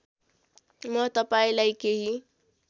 म तपाईँलाई केही